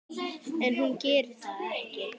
En hún gerir það ekki.